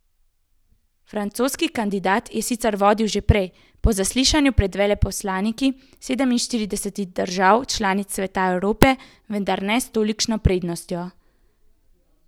Francoski kandidat je sicer vodil že prej, po zaslišanju pred veleposlaniki sedeminštiridesetih držav članic Sveta Evrope, vendar ne s tolikšno prednostjo.